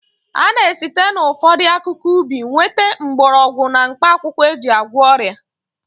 A na-esite n'ụfọdụ akụkụ ubi nweta mgbọrọgwụ na mkpaakwụkwọ e ji agwọ ọrịa